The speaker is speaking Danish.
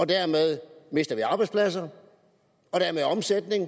dermed mister arbejdspladser og omsætning